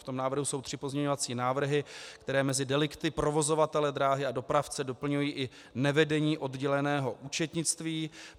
V tom návrhu jsou tři pozměňovací návrhy, které mezi delikty provozovatele dráhy a dopravce doplňují i nevedení odděleného účetnictví.